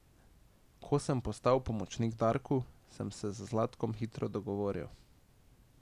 Ko sem postal pomočnik Darku, sem se z Zlatkom hitro dogovoril.